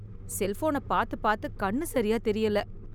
செல்போனை பார்த்து பார்த்து கண்ணு சரியா தெரியல